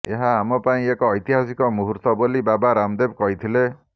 ଏହା ଆମ ପାଇଁ ଏକ ଐତିହାସିକ ମୁହୂର୍ତ୍ତ ବୋଲି ବାବା ରାମଦେବ କହିଥିଲେ